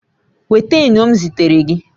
Nweta enyo m zitere gị